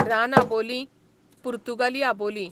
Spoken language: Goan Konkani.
रान आबोलीं, पुर्तुगाली आबोलीं